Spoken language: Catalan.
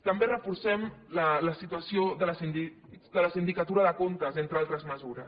també reforcem la situació de la sindicatura de comptes entre altres mesures